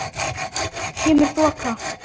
Kemur þoka.